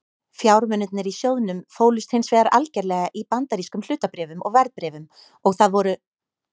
Fjármunirnir í sjóðnum fólust hins vegar algerlega í bandarískum hlutabréfum og verðbréfum og það voru